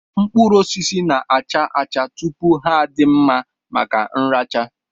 Mkpụrụosisi na-acha acha tupu ha adị mma maka nracha